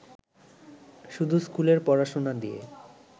শুধু স্কুলের পড়াশোনা দিয়ে